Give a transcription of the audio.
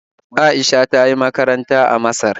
Aisha ta yi makaranta a Masar